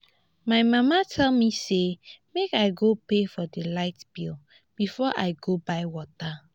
my mama tell me say make i go pay for the light bill before i go buy water